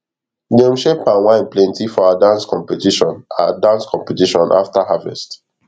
dem share palm wine plenty for our dance competition our dance competition after harvest